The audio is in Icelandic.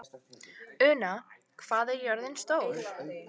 Una, hvað er jörðin stór?